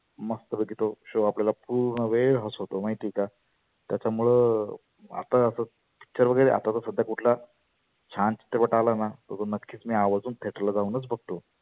मस्त पैकी तो show आपल्याला पुर्ण वेळ हसवतो माहिती आहे का. त्याच्यामुळ आता असच picture वगैरे आता सध्या कुठला छान चित्रपट आलाना तर तो नक्कीच आवर्जुन theater ला जाऊनच बघतो.